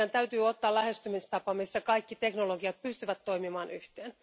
Eli meidän täytyy ottaa lähestymistapa, jossa kaikki teknologiat pystyvät toimimaan yhteen.